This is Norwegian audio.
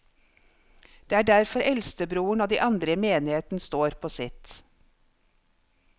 Det er derfor eldstebroren og de andre i menigheten står på sitt.